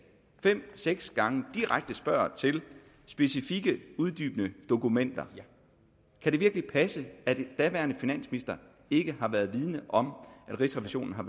fem seks gange direkte spørger til specifikke uddybende dokumenter kan det virkelig passe at den daværende finansminister ikke har været vidende om at rigsrevisionen har